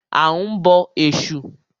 A ń bọ Ẹ̀sù.